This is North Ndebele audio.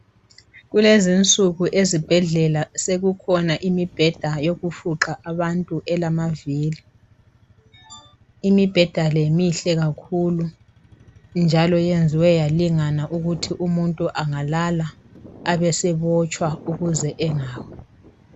Kulezinsuku ezibhedlela sekukhona imibheda yokufuqa abantu elamavili. Imibheda le mihle kakhulu njalo yenziwe yalingana ukuthi umuntu angalala abesebotshwa ukuze angawi.